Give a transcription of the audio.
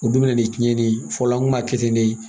O dun bɛ na ni cɛnni ye fɔlɔ an kun b'a kɛ ten ne